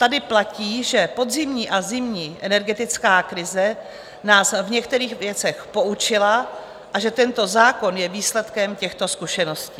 Tady platí, že podzimní a zimní energetická krize nás v některých věcech poučila a že tento zákon je výsledkem těchto zkušeností.